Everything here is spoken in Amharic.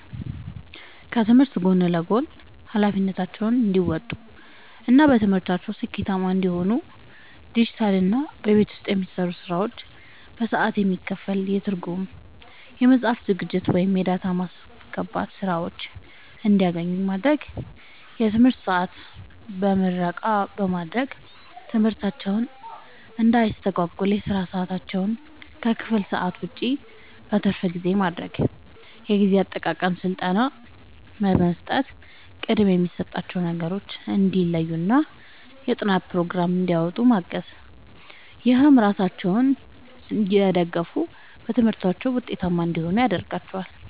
ከትምህርት ጎን ለጎን ኃላፊነታቸውን እንዲወጡ እና በትምህርታቸው ስኬታማ እንዲሆኑ ዲጂታልና በቤት ውስጥ የሚሰሩ ስራዎች በሰዓት የሚከፈል የትርጉም፣ የጽሑፍ ዝግጅት ወይም የዳታ ማስገባት ሥራዎችን እንዲያገኙ ማድረግ። የትምህርት ሰዓት በምረቃ በማድረግ ትምህርታቸውን እንዳያስተጓጉል የሥራ ሰዓታቸውን ከክፍል ሰዓት ውጭ (በትርፍ ጊዜ) ማድረግ። የጊዜ አጠቃቀም ሥልጠና በመስጠት ቅድሚያ የሚሰጣቸውን ነገሮች እንዲለዩና የጥናት ፕሮግራም እንዲያወጡ ማገዝ። ይህም ራሳቸውን እየደገፉ በትምህርታቸው ውጤታማ እንዲሆኑ ያደርጋቸዋል።